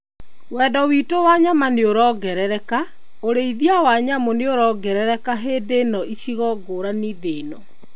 Wendo witũ wa nyama nĩorongerereka, ũrĩithia wa nyamũ nĩorongerereka hĩndĩ ĩno icigo ngũrani thĩ-inĩ.